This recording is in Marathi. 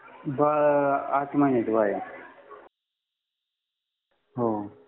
बाळ आठ महिन्याचं बाळ आहे हो